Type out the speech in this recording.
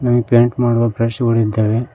ಹಾಗೆ ಪೈಂಟ್ ಮಾಡುವ ಬ್ರಷ್ ಗಳಿದ್ದಾವೆ.